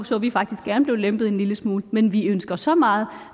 så vi faktisk gerne blev lempet en lille smule men vi ønsker så meget